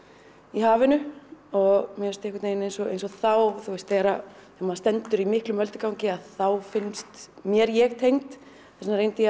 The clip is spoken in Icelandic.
í hafinu og mér finnst einhvern veginn eins og þá þegar maður stendur í miklum öldugangi þá finnst mér ég tengd þess vegna reyndi ég